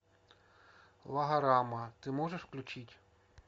логорама ты можешь включить